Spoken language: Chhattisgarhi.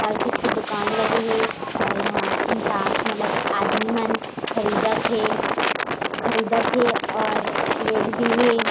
हर चीज के दुकान लगे हे और यहाँ इंसान मतलब आदमी मन खरदीत थे खरदीत थे और लेत भी है।